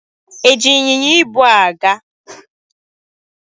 E ji ịnyịnya ibu a gaa?